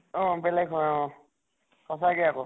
অʼ বেলেগ হয় অʼ । সচাঁকে আকৌ ।